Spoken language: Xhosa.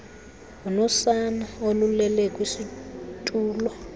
unosana olulele kwisitulo